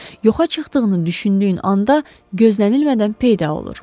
Yoxa çıxdığını düşündüyün anda gözlənilmədən peyda olur.